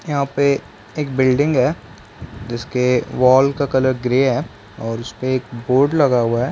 यहाँ पे एक बिल्डिंग है जिसके वाल का कलर ग्रे है और उसपे एक बोर्ड लगा हुआ हैं ।